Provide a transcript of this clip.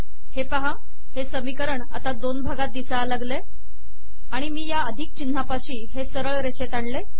हे पहा हे समीकरण आता दोन भागात दिसू लागले आणि मी या अधिक चिन्हापाशी हे सरळ रेषेत आणले